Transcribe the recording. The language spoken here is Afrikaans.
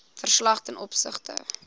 verslag ten opsigte